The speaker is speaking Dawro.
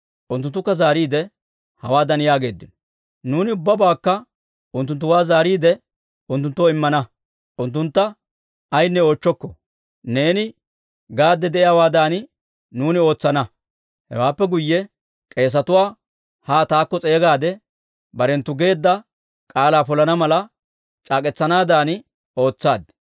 Unttunttukka zaariide, hawaadan yaageeddino; «Nuuni ubbabaakka unttunttuwaa zaariide, unttunttoo immana; unttuntta ayaanne oochchokko. Neeni gaadde de'iyaawaadan, nuuni ootsana». Hewaappe guyye k'eesetuwaa haa taakko s'eegaade, barenttu geedda k'aalaa polana mala, c'aak'k'etsanaadan ootsaad.